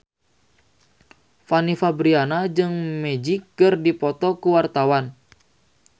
Fanny Fabriana jeung Magic keur dipoto ku wartawan